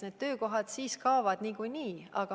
Need töökohad kaovad niikuinii.